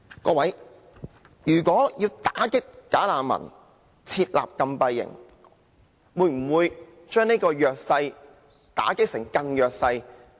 各位，如果要打擊"假難民"，設立禁閉營會否把弱勢打擊為更弱勢？